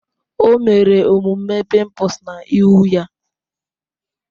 O mere omume pimples na ihu ya